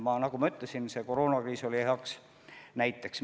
Ja nagu ma ütlesin, koroonakriis oli heaks näiteks.